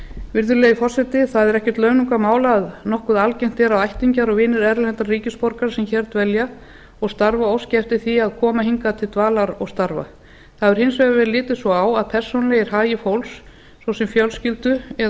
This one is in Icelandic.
virðulegi forseti það er ekkert launungarmál að nokkuð algengt er að ættingjar og vinir erlendra ríkisborgara sem hér dvelja og starfa óski eftir því að koma hingað til dvalar og starfa það hefur hins vegar verið litið svo á að persónulegir hagir fólks svo sem fjölskyldu eða